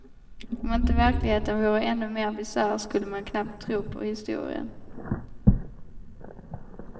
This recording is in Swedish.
Om inte verkligheten vore ännu mer bisarr skulle man knappt tro på historien.